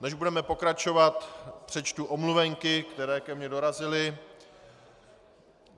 Než budeme pokračovat, přečtu omluvenky, které ke mně dorazily.